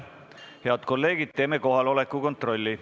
Head kolleegid, teeme kohaloleku kontrolli.